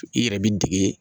I yɛrɛ b'i dege